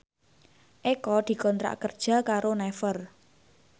Eko dikontrak kerja karo Naver